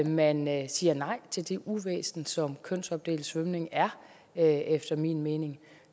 man man siger nej til det uvæsen som kønsopdelt svømning er efter min mening